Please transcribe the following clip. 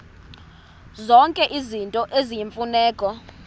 zonke izinto eziyimfuneko